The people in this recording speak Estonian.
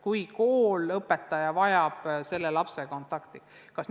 Kui kool või õpetaja vajab lapsega kontakti, siis kohtutakse.